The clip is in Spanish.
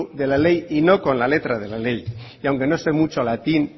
de la ley y no con la letra de la ley y aunque no sé mucho latín